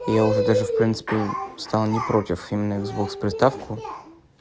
я уже даже в принципе стал не против именно иксбокс приставку